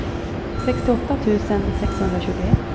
sextioåtta tusen sexhundratjugoett